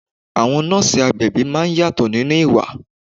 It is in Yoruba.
Àwọn nọ́ọ̀sì agbẹ̀bí máa ń yàtọ̀ nínú ìwà.